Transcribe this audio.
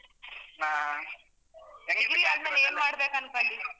ಹಾ ಏನ್ ಮಾಡ್ಬೇಕು ಅನ್ಕೊಂಡಿ.